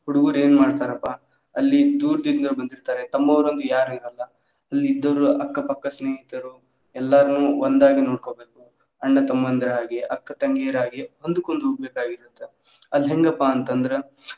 ಹುಡುಗುರ ಏನ ಮಾಡ್ತಾರಪಾ ಅಲ್ಲಿ ಅಂತ ಇರ್ತಾರೆ ತಮ್ಮವರ್ ಅಂತ ಯಾರು ಇರೋಲ್ಲಾ ಇನ್ ಇದ್ದೋವ್ರು ಅಕ್ಕ ಪಕ್ಕ ಸ್ನೇಹಿತರು ಎಲ್ಲಾರ್ನು ಒಂದಾಗಿ ನೋಡ್ಕೊಬೇಕು ಅಣ್ಣ ತಮ್ಮಂದಿರ ಹಾಗೆ, ಅಕ್ಕ ತಂಗಿಯರ ಹಾಗೆ ಹೊಂದುಕೊಂಡು ಹೋಗಬೇಕಾಗಿರುತ್ತೆ ಅಲ್ಹೆಂಗಪ್ಪಾ ಅಂತಂದ್ರೆ